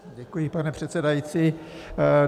Děkuji, pane předsedající.